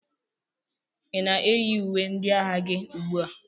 Ị na-eyi uwe ndị agha gị ugbu a?